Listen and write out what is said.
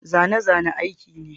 Zane-zane aiki ne.